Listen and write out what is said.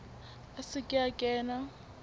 a se ke a kena